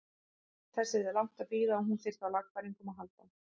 Þess yrði langt að bíða að hún þyrfti á lagfæringum að halda.